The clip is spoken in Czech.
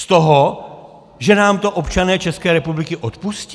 Z toho, že nám to občané České republiky odpustí?